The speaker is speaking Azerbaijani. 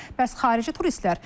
Bəs xarici turistlər?